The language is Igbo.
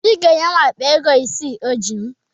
Obi ga-enye m akpa ego ise o ji m